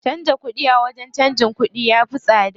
Canza kuɗi a wajen canjin kuɗi ya fi tsada.